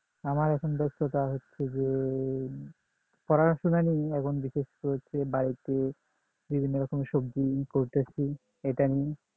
আমার এখন ব্যস্ততা হচ্ছে যে পড়াশোনা নেই এখন রয়েছে বাড়িতে বিভিন্ন রকমের সবজি করতেছি এটা নিয়ে